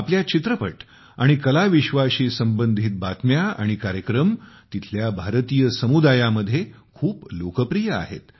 आपल्या चित्रपट आणि कलाविश्वाशी संबंधित बातम्या आणि कार्यक्रम तेथील भारतीय समुदायामध्ये खूप लोकप्रिय आहेत